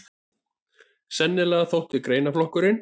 Sennilega þótti greinaflokkurinn